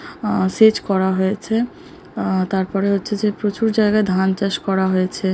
আ সেচ করা হয়েছে। আ তারপরে হচ্ছে যে প্রচুর জায়গায় ধান চাষ করা হয়েছে।